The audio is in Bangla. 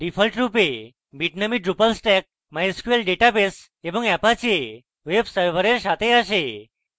ডিফল্টরূপে bitnami drupal stack mysql database এবং apache web server সাথে আসে